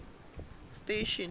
station